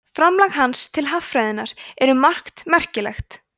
framlag hans til haffræðinnar er um margt merkilegt